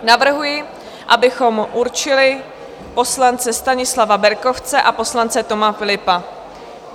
Navrhuji, abychom určili poslance Stanislava Berkovce a poslance Toma Philippa.